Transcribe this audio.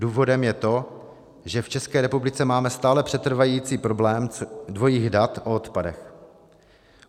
Důvodem je to, že v České republice máme stále přetrvávající problém dvojích dat o odpadech.